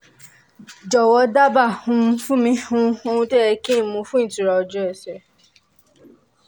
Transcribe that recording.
jọ̀wọ́ dábàá um fún mi um ohun tó yẹ kí n mu fún ìtura ojú ẹsẹ̀